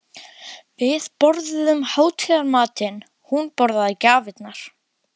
Við borðuðum hátíðarmatinn, hún borðaði gjafirnar.